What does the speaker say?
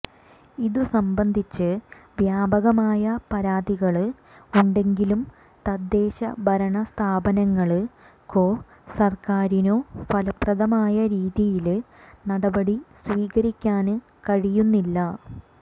ഇതു സംബന്ധിച്ച് വ്യാപകമായ പരാതികള് ഉണ്ടെങ്കിലും തദ്ദേശ ഭരണസ്ഥാപനങ്ങള്ക്കോ സര്ക്കാരിനോ ഫലപ്രദമായ രീതിയില് നടപടി സ്വീകരിക്കാന് കഴിയുന്നില്ല